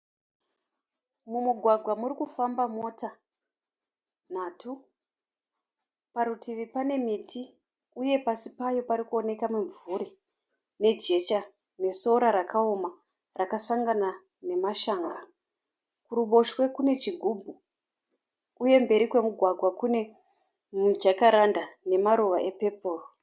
Mumugwaga murikufamba mota nhatu, parutivi pane miti uye pasi payo parikuoneka mimvuri nejecha nesora rakaoma rakasangana nemashanga. Kuruboshwe kune chigubhu uye mberi kwemugwagwa kune mijakaranda ne maruva e pepo.